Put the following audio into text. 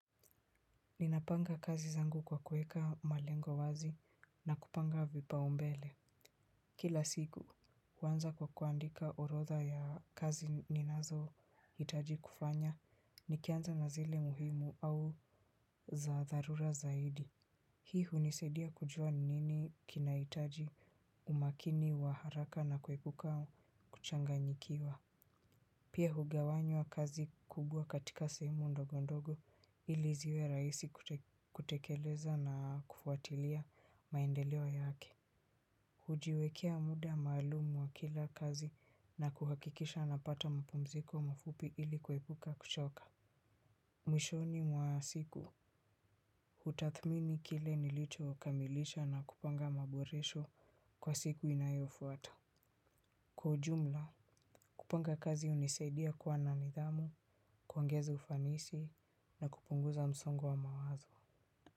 Ninapanga kazi zangu kwa kuweka malengo wazi na kupanga vipaumbele. Kila siku, huanza kwa kuandika orodha ya kazi ninazohitaji kufanya, nikianza na zile muhimu au za dharura zaidi. Hii hunisadia kujua nini kinahitaji umakini wa haraka na kuepuka kuchanganyikiwa. Pia hugawanywa kazi kubwa katika sehemu ndogondogo ili ziwe rahisi kutekeleza na kufuatilia maendeleo yake. Hujiwekea muda maalumu wa kila kazi na kuhakikisha napata mapumziko mafupi ili kuepuka kuchoka. Mwishoni mwa siku hutathmini kile nilichowakamilisha na kupanga maboresho kwa siku inayofuata. Kwa ujumla, kupanga kazi hunisaidia kuwa na nidhamu, kuongeza ufanisi na kupunguza msongo wa mawazo.